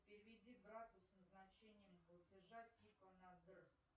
переведи брату с назначением платежа типа на др